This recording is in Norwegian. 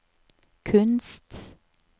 kunst